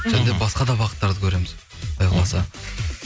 және де басқа да бағыттарды көреміз құдай қаласа